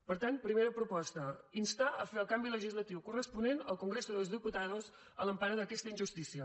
per tant primera proposta instar a fer el canvi legislatiu corresponent al congreso de los diputados a l’empara d’aquesta injustícia